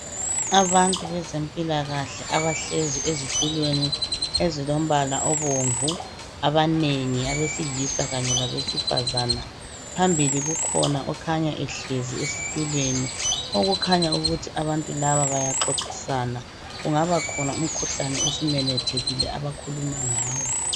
Abantu bezempilakahle abahlezi ezitulweni ezilombala obomvu abanengi abesilisa Kanye labesifazana. Phambili kukhona okhanya ehlezi esitulweni okukhanya ukuthi abantu laba bayaxoxisana. Kungaba khona umkhuhlane osumemethekile abakhuluma ngawo.